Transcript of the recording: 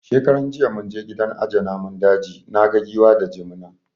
Shekaran jiya mun je gidan aje namun daji, naga Giwa da Jimina